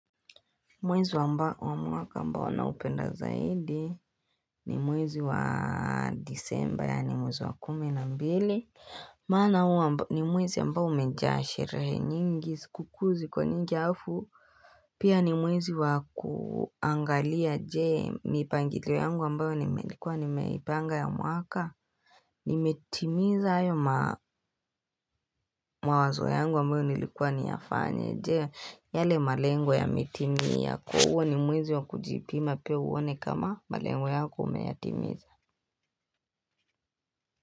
Mwezi wa mwaka ambao na upenda zaidi ni mwezi wa disemba ya ni mwezi wa kumi na mbili Mana huwa ni mwezi ambao umejaa sherehe nyingi sikukuuzi ko nyingi hafu Pia ni mwezi wa kuangalia je mipangilio yangu ambayo nimelikuwa ni meipanga ya mwaka nimetimiza ayo mawazo yangu ambayo nilikuwa niyafanye Je, yale malengu ya mitimia Kuhuwa ni mwezi wa kujipima pia uone kama malengo yako umeyatimiza.